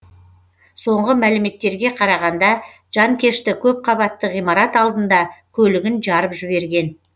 соңғы мәліметтерге қарағанда жанкешті көпқабатты ғимарат алдында көлігін жарып жіберген